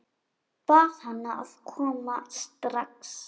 Bað hana að koma strax.